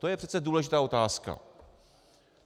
To je přece důležitá otázka.